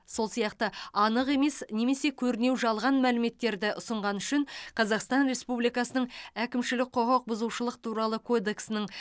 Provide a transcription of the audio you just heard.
сол сияқты анық емес немесе көрінеу жалған мәліметтерді ұсынғаны үшін қазақстан республикасының әкімшілік құқық бұзушылық туралы кодексінің